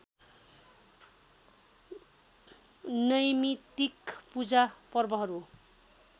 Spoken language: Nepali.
नैमित्तिक पूजा पर्वहरू